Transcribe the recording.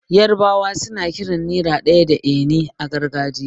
Yarbawa suna kiran naira ɗaya da 'eni' a gargajiya.